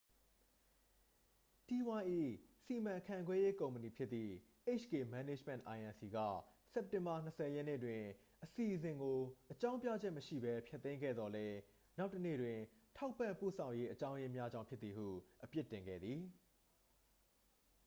တီးဝိုင်း၏ စီမံခန့်ခွဲရေးကုမ္ပဏီဖြစ်သည့် hk management inc က စက်တင်ဘာ 20 ရက်နေ့တွင် အစီအစဉ်ကို အကြောင်းပြချက်မရှိဘဲ ဖျက်သိမ်းခဲ့သော်လည်း နောက်တစ်နေ့တွင် ထောက်ပံ့ပို့ဆောင်ရေးအကြောင်းရင်းများကြောင့် ဖြစ်သည်ဟု အပြစ်တင်ခဲ့သည်